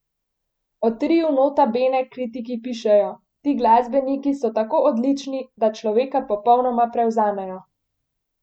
O triu Nota Bene kritiki pišejo: 'Ti glasbeniki so tako odlični, da človeka popolnoma prevzamejo.